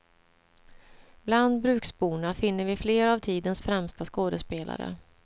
Bland bruksborna finner vi flera av tidens främsta skådespelare.